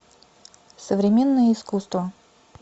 современное искусство